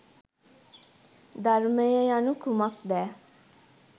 ධර්මය යනු කුමක්දැ